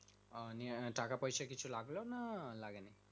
নিয়ে টাকা পয়সা কিছু লাগলো না লাগেলি